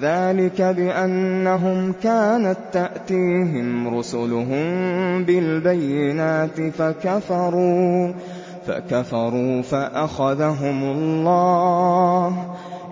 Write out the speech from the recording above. ذَٰلِكَ بِأَنَّهُمْ كَانَت تَّأْتِيهِمْ رُسُلُهُم بِالْبَيِّنَاتِ فَكَفَرُوا فَأَخَذَهُمُ اللَّهُ ۚ